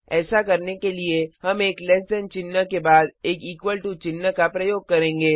ऐसा करने के लिए हम एक लैस दैन चिन्ह के बाद एक इक्वल टू चिन्ह का प्रयोग करेंगे